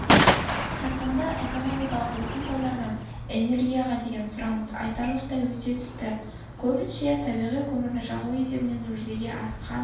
қарқынды экономикалық өсім салдарынан энергияға деген сұраныс айтарлықтай өсе түсті көбінше табиғи көмірді жағу есебінен жүзеге асқан